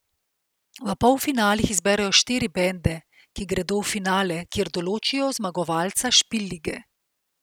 V polfinalih izberejo štiri bende, ki gredo v finale, kjer določijo zmagovalca Špil lige.